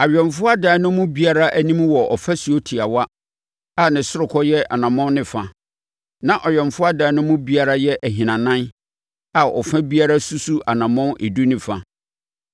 Awɛmfoɔ adan no mu biara anim wɔ ɔfasuo tiawa a ne sorokɔ yɛ ɔnamɔn ne fa, na awɛmfoɔ adan no mu biara yɛ ahinanan a ɔfa biara susu anammɔn edu ne fa.